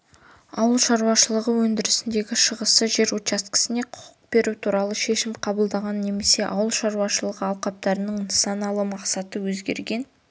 ауыл шаруашылығы өндірісіндегі шығасы жер учаскесіне құқық беру туралы шешім қабылданған немесе ауыл шаруашылығы алқаптарының нысаналы мақсаты өзгерген